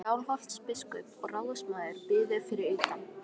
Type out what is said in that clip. Skálholtsbiskup og ráðsmaður biðu fyrir utan.